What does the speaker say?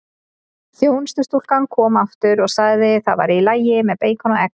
Þjónustustúlkan kom aftur og sagði það væri í lagi með beikon og egg.